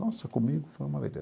Nossa, comigo foi uma beleza.